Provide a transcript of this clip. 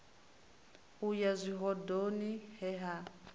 u ya zwihoḓoni he na